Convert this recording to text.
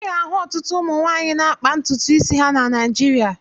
Ị ga-ahụ ọtụtụ ụmụ nwaanyị na-akpa ntutu isi ha na Naịjịrịa.